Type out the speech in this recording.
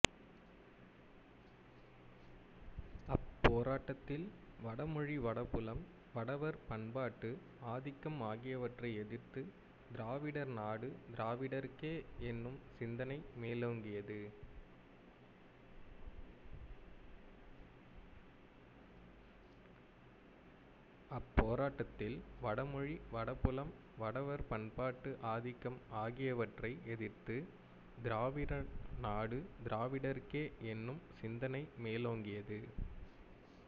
அப்போராட்டத்தில் வடமொழி வடபுலம் வடவர் பண்பாட்டு ஆதிக்கம் ஆகியவற்றை எதிர்த்து திராவிடர்நாடு திராவிடர்க்கே என்னும் சிந்தனை மேலோங்கியது